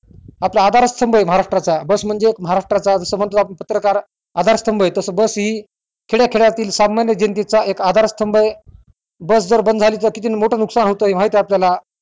आपल्या आधार स्तंभ महाराट्राचा चा बस म्हणजे महाराष्टरचा जस म्हणत आपण पत्रकार आधार स्तंभ तस बस हि खेड्या खेड्याततीळ सामान्य जनतेचा आधार स्तंभ हे बस जर बंद झाली तर किती मोठं नुकसान होतंय हे माहित आहे आपल्याला